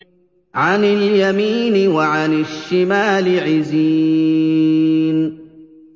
عَنِ الْيَمِينِ وَعَنِ الشِّمَالِ عِزِينَ